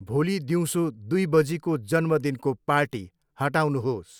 भोलि दिउँसो दुई बजीको जन्मदिनको पार्टी हटाउनुहोस्।